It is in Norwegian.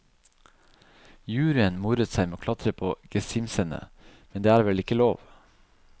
Juryen moret seg med å klatre på gesimsene, men det er vel ikke lov.